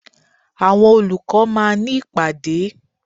Àwọn olùkọ́ máà ní ìpàdé.